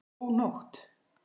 Ó, nótt!